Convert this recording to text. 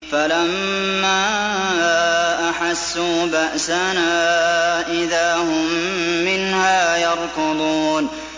فَلَمَّا أَحَسُّوا بَأْسَنَا إِذَا هُم مِّنْهَا يَرْكُضُونَ